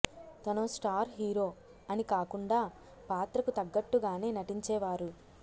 తనో star hero అని కాకుండా పాత్రకు తగ్గట్టుగానే నటించేవారు